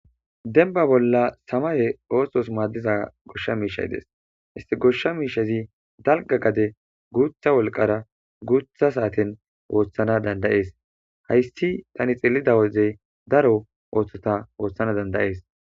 denba bolla samaye othos madiza gosha mishay des issi gosha mishazi dalga gade gutha wolqara gutha saten othana danda'es haysi tan xeliza wode daro osota othana danda'es